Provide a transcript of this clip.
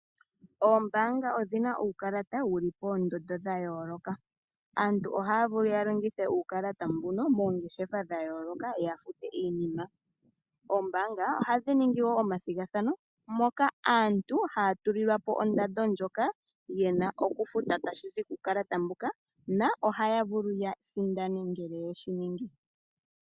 Oombaanga odhina uukalata wuli poondondo dha yooloka. Aantu ohaya vulu ya longithe uukalata mbuno moongeshefa dha yooloka ya fute iinima. Oombaanga ohadhi ningi woo omathigathano moka aantu haya tulilwa po ondando ndjoka yena oku futa tashi zi kukalata mbuka na ohaya vulu ya sindane ngele yeshi ningi.